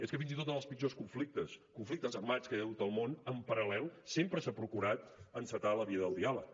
és que fins i tot en els pitjors conflictes conflictes armats que hi ha hagut al món en paral·lel sempre s’ha procurat encetar la via del diàleg